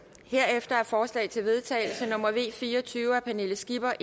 herefter er forslag til vedtagelse nummer v fire og tyve af pernille skipper